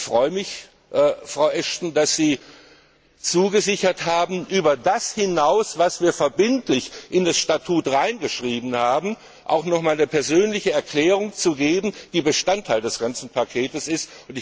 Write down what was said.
Ich freue mich, Frau Ashton, dass Sie zugesichert haben, über das hinaus, was wir verbindlich in das Statut hineingeschrieben haben, auch noch einmal eine persönliche Erklärung abzugeben, die Bestandteil des ganzen Pakets ist.